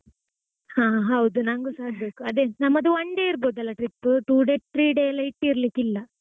ಆ ಹೌದು ನಂಗುಸ ಆಗ್ಬೇಕು, ಅದೇ ನಮ್ಮದು one day ಇರ್ಬೋದಲ್ಲ trip two day, three day ಎಲ್ಲಾ ಇಟ್ಟಿರ್ಲಿಕ್ಕಿಲ್ಲ.